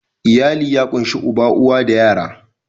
Iyali ya ƙunshi uba, uwa da yara.